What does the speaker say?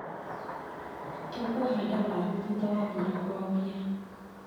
Tũkũhanda waru thutha wa mbura kwambia.